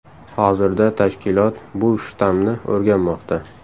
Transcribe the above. Hozirda tashkilot bu shtammni o‘rganmoqda .